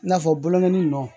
I n'a fɔ bogɛn ni nɔ